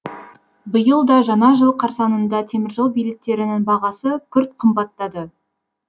биыл да жаңа жыл қарсаңында теміржол билеттерінің бағасы күрт қымбаттады